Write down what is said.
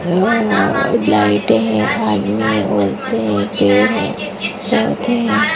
लाइटें हैं आदमी हैं औरतें हैं पेड़ हैं पौधे हैं --